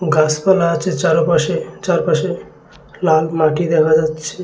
গাছপালা আছে চারোপাশে চারপাশে লাল মাটি দেখা যাচ্ছে।